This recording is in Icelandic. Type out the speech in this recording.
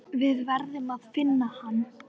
Við verðum að finna hann.